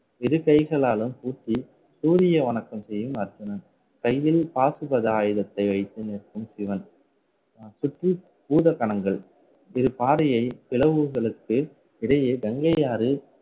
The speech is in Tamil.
இரு கைகளாலும் பூட்டி சூரிய வணக்கம் செய்யும் கையில் பாசுபத ஆயுதத்தை வைத்து நிற்கும் சிவன். அஹ் சுற்றி பூத கணங்கள் இது பாறையை பிளவுகளுக்கு இடையே கங்கையாறு